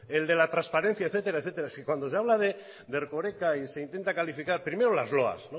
el de la transparencia etcétera es que cuando se habla de erkoreka y se intentan calificar primero las loas